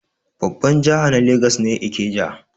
Babbar jiha na legas ne Ikeja.